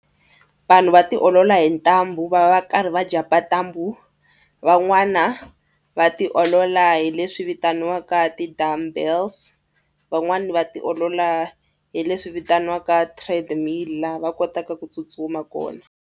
Vanhu va tiolola hi ntambu va va karhi va jump-a ntambu. Van'wana va tiolola hi leswi vitaniwaka ti-dumbbells. Van'wani va tiolola hi leswi vitaniwaka treadmill laha va kotaka ku tsutsuma kona.